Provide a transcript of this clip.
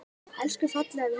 Elsku fallega vinkona mín.